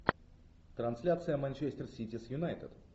трансляция манчестер сити с юнайтед